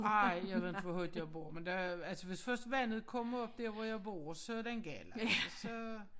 Ej jeg ved inte hvor højt jeg bor men der altså vist først vandet kommer op dérhvor jeg bor så den gal altså så